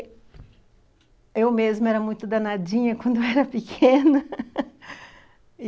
E eu mesma era muito danadinha quando era pequena